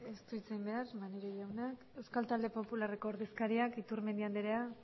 ez du hitz egin behar maneiro jaunak euskal talde popularreko ordezkariak iturmendi andrea